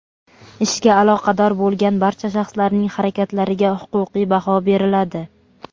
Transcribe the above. ishga aloqador bo‘lgan barcha shaxslarning harakatlariga huquqiy baho beriladi.